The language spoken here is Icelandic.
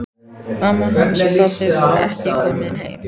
Mamma hans og pabbi voru ekki komin heim.